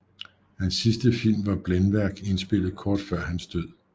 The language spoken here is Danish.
Hans sidste film var Blændværk indspillet kort før hans død